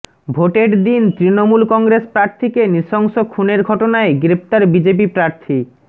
ভোটের দিন তৃণমূল কংগ্রেস প্রার্থীকে নৃশংস খুনের ঘটনায় গ্রেফতার বিজেপি প্রার্থী